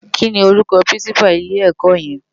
Ki ni órúkò pirinsipá ilè èkò yen?